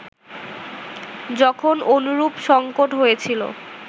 যখন অনুরূপ সঙ্কট হয়েছিল